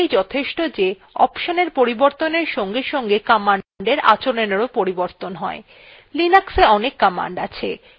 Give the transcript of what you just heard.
এখন এইটুকু বুঝলেই যথেষ্ট যে অপশনat পরিবর্তনের সঙ্গে সঙ্গে command আচরণএরও পরিবর্তন হয়